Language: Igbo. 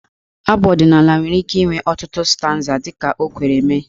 Abụ ọdịnaala nwere ike inwe ọtụtụ stanza dị ka o kwere mee.